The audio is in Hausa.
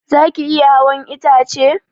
Zaki iya hawan itace?